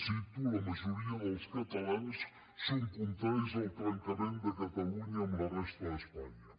cito la majoria dels catalans són contraris al trencament de catalunya amb la resta d’espanya